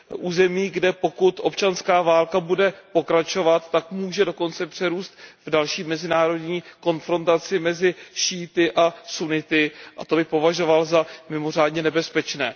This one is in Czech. Území, kde pokud bude občanská válka pokračovat, tak může dokonce přerůst v další mezinárodní konfrontaci mezi šíity a sunity a to bych považoval za mimořádně nebezpečné.